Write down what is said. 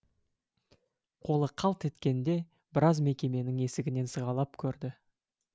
қолы қалт еткенде біраз мекеменің есігінен сығалап көрді